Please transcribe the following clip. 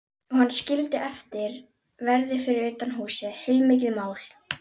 Og hann skildi eftir verði fyrir utan húsið, heilmikið mál.